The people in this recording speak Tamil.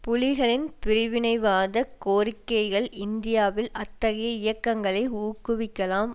புலிகளின் பிரிவினைவாத கோரிக்கைகள் இந்தியாவில் அத்தகைய இயக்கங்களை ஊக்குவிக்கலாம்